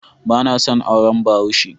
Bana son auren Bahaushe.